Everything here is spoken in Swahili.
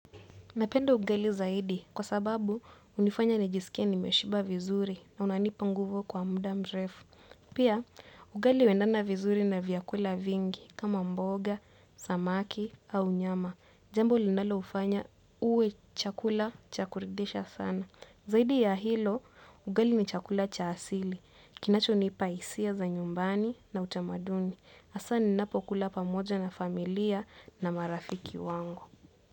Napenda ugali zaidi kwa sababu hunifanya nijisikie nimeshiba vizuri na unanipa nguvu kwa mda mrefu. Pia ugali huendana vizuri na vyakula vingi kama mboga, samaki au nyama. Jambo linaloufanya uwe chakula cha kuridisha sana. Zaidi ya hilo ugali ni chakula cha asili. Kinachonipa hisia za nyumbani na utamaduni. Asa ninapokula pamoja na familia na marafiki wangu.